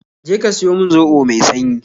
Je ka siyo min zobo mai sanyi